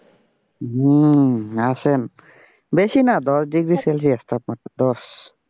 হম আসেন বেশি না দশ ডিগ্রি সেলিয়াস তাপমাত্রা দশ।